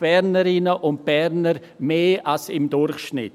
– 180 Bernerinnen und Berner mehr als im Durchschnitt.